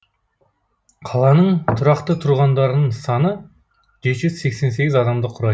қаланың тұрақты тұрғындарының саны жеті жүз сексен сегіз адамды құрай